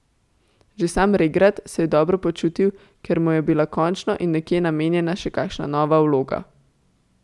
Že sam regrat se je dobro počutil, ker mu je bila končno in nekje namenjena še kakšna nova vloga.